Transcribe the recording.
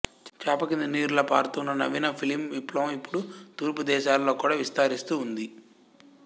చాప క్రింద నీరులా పారుతూ ఉన్న నవీన ఫిలిం విప్లవం ఇప్పుడు తూర్పు దేశాలలో కూడా విస్తరిస్తూ ఉంది